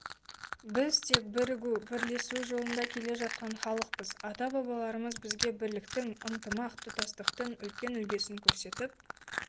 біз тек бірігу бірлесу жолында келе жатқан халықпыз ата-бабаларымыз бізге бірліктің ынтымақ тұтастықтың үлкен үлгісін көрсетіп